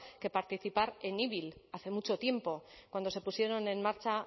que participar en ibil hace mucho tiempo cuando se pusieron en marcha